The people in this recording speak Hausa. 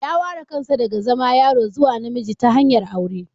Ya ware kansa daga zama yaro zuwa namiji ta hanyar aure